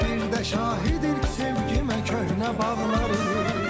Bir də şahiddir sevgimə köhnə bağları.